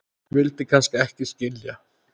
vildi kannski ekki skilja